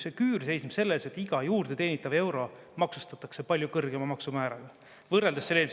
See küür seisneb selles, et iga juurde teenitav euro maksustatakse palju kõrgema maksumääraga võrreldes …